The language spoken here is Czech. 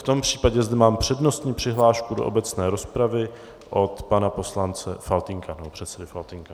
V tom případě zde mám přednostní přihlášku do obecné rozpravy od pana poslance Faltýnka, nebo předsedy Faltýnka.